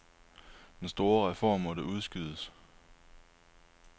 Den store reform måtte udskydes.